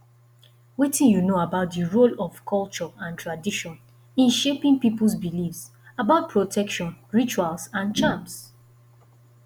wetin you know about di role of culture and tradition in shaping peoples beliefs about protection rituals and charms